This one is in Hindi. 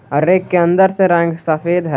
और रैक के अंदर से रंग सफेद है।